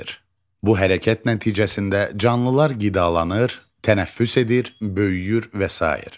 Bu hərəkət nəticəsində canlılar qidalanır, tənəffüs edir, böyüyür və sair.